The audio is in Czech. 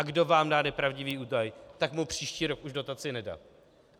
A kdo vám dá nepravdivý údaj, tak mu příští rok už dotaci nedat.